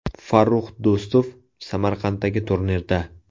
Farrux Do‘stov Samarqanddagi turnirda.